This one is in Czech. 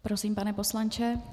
Prosím, pane poslanče.